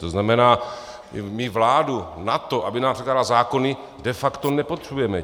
To znamená, my vládu na to, aby nám předkládala zákony, de facto nepotřebujeme.